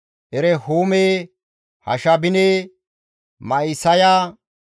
Erehuume, Hashabine, Ma7isaya,